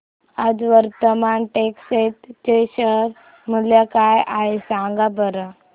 आज वर्धमान टेक्स्ट चे शेअर मूल्य काय आहे सांगा बरं